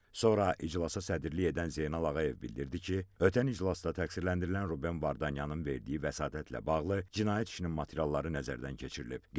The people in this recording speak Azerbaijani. Sonra iclasa sədrlik edən Zeynal Ağayev bildirdi ki, ötən iclasda təqsirləndirilən Ruben Vardanyanın verdiyi vəsatətlə bağlı cinayət işinin materialları nəzərdən keçirilib.